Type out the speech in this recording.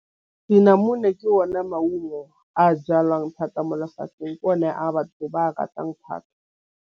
Dnamune ke o ne maungo a jalwang thata mo lefatšheng ke one a batho ba a ratang thata.